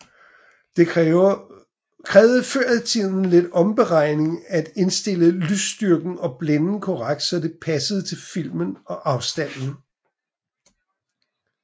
Det krævede før i tiden lidt omregning at indstille lysstyrken og blænden korrekt så det passede til filmen og afstanden